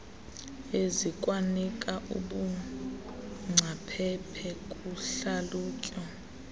ezikwanika ubungcaphephe kuhlalutyo